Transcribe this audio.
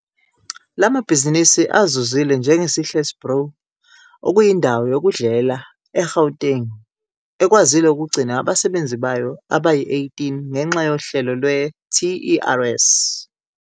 La mabhizinisi azuzile njenge-Sihle's Brew, okuyi ndawo yokudlela e-Gauteng, ekwazile ukugcina abasebenzi bayo abayi-18 ngenxa yohlelo lwe-TERS.